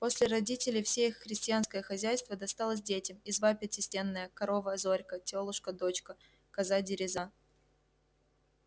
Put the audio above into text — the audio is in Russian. после родителей все их крестьянское хозяйство досталось детям изба пятистенная корова зорька тёлушка дочка коза дереза